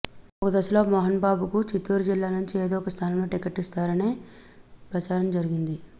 ఒక దశలో మోహన్బాబుకు చిత్తూరు జిల్లా నుంచి ఏదో ఒక స్థానంలో టికెట్ ఇస్తారనే ప్రచారం జరిగింది